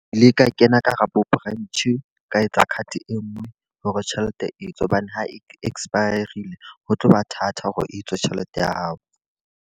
Ke ile ka kena ka hara bo branch, ka etsa card e nngwe. Hore tjhelete e tswe hobane ha e expire-rile ho tloba thata hore e tswe tjhelete ya hao.